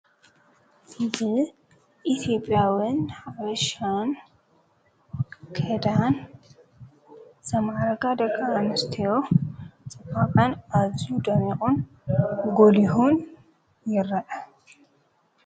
እብ ኢትብያውን በሻን ከዳን ተመዓረጋ ደቓ ኣምስተዮ ጸማቓን ኣዝ ደሜቖን ጐልሁን የረአ።